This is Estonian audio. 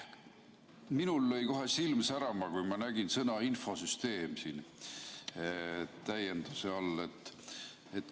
Minul lõi kohe silm särama, kui ma nägin sõna "infosüsteem" siin täienduse all.